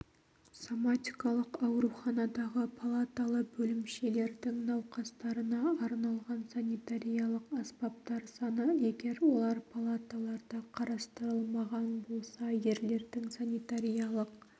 соматикалық ауруханадағы палаталы бөлімшелердің науқастарына арналған санитариялық аспаптар саны егер олар палаталарда қарастырылмаған болса ерлердің санитариялық